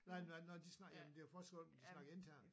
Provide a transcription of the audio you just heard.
Nej nej når de snakkede jamen det var først godt når de snakkede internt